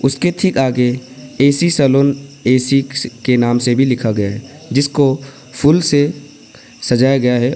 इसके ठीक आगे ए_सी सैलून ए_सी के नाम से भी लिखा गया है जिसको फूल से सजाया गया है।